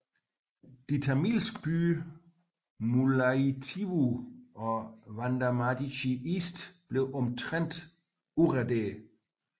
De tamilske byer Mullaittivu og Vadamaradchi East blev omtrent udraderet